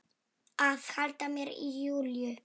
Að halda mér í Júlíu.